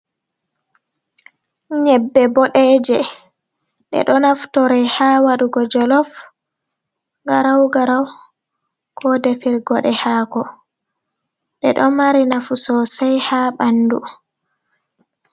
Nyeɓɓe ɓodeje ɓedo naftorai ha wadugo jolof garau garau, ko defir gode hako ɗeɗo mari nafu sosai ha ɓandu.